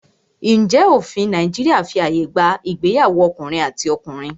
Ǹjẹ́ òfin ilẹ̀ Nàìjíríà fí ààyè gba ìgbéyàwó ọkùnrin àti ọkùnrin?